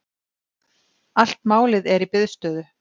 Allt málið er í biðstöðu.